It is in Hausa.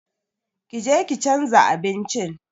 Ƙi je ki chanza abincin!